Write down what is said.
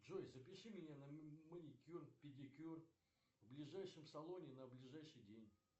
джой запиши меня на маникюр педикюр в ближайшем салоне на ближайший день